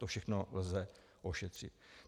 To všechno lze ošetřit.